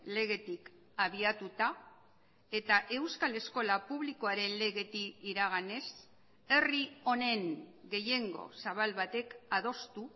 legetik abiatuta eta euskal eskola publikoaren legetik iraganez herri honen gehiengo zabal batek adostu